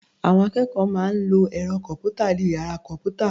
Àwọn akẹ́kọ̀ọ́ máa ń lọ ẹ̀rọ kọ̀m̀pútà ní ìyára kọ̀m̀pútà